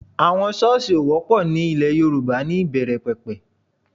Àwọn Ṣọ́ọ̀sì ò wọ́pọ̀ ní ilẹ̀ Yorùbá níbẹ̀rẹ̀ pẹ̀pẹ̀